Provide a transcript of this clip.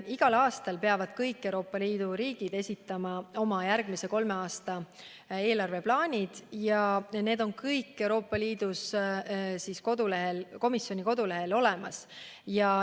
Igal aastal peavad kõik Euroopa Liidu riigid esitama oma järgmise kolme aasta eelarveplaanid ja need on kõik Euroopa Komisjoni kodulehel olemas.